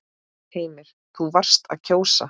Heimir: Þú varst að kjósa?